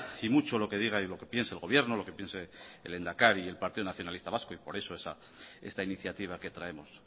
y mucho lo que diga y lo que piense el gobierno y lo que piense el lehendakari y el partido nacionalista vasco y por eso esta iniciativa que traemos